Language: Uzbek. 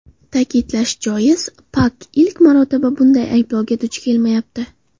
Ta’kidlash joiz, Pak ilk marotaba bunday ayblovga duch kelmayapti.